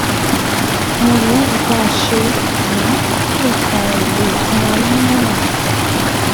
Àwọn ìwádìí tá a ṣe yìí nìkan ò lè fún wa nímọ̀ràn